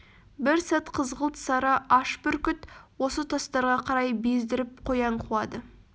бір сәт қызғылт сары аш бүркіт осы тастарға қарай бездіріп қоян қуады